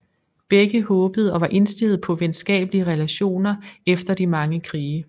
Begge håbede og var indstillet på venskabelige relationer efter de mange krige